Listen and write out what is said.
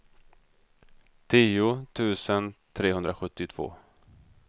tio tusen trehundrasjuttiotvå